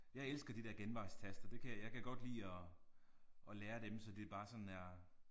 Jeg elsker de der genvejstaster det kan jeg kan godt lide at at lære dem så det bare sådan er